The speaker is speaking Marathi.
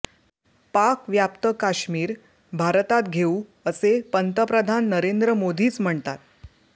पाकव्याप्त काश्मीर भारतात घेऊ असे पंतप्रधान नरेंद्र मोदीच म्हणतात